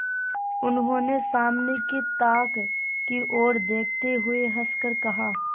उन्होंने सामने की ताक की ओर देखते हुए हंसकर कहा